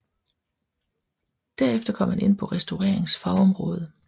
Derefter kom han ind på restaureringens fagområde